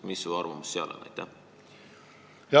Mis su arvamus selle kohta on?